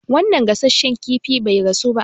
Wanan gasasshen kifin bai gasu ba